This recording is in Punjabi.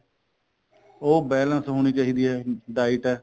ਉਹ balance ਹੋਣੀ ਚਾਹੀਦੀ ਏ diet ਐ